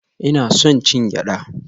Ina son cin gyada